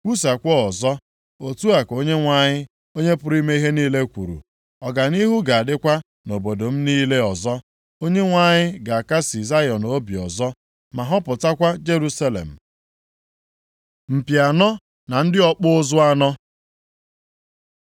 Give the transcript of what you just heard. “Kwusaakwa ọzọ, otu a ka Onyenwe anyị, Onye pụrụ ime ihe niile kwuru. ‘Ọganihu ga-adịkwa nʼobodo m niile ọzọ. + 1:17 Obodo m niile ga-esite nʼụba basaa ọzọ Onyenwe anyị ga-akasị Zayọn obi ọzọ, ma họpụtakwa Jerusalem.’ ” Mpi anọ na ndị ọkpụ ụzụ anọ